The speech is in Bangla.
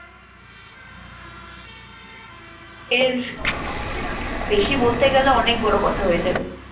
এর আহ বেশি বলতে গেলে অনেক বড় কথা হয়ে যাবে।